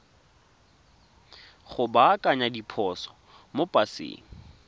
go baakanya diphoso mo paseng